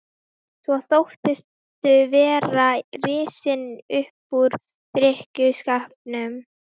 Svo þóttistu vera risinn upp úr drykkjuskapnum.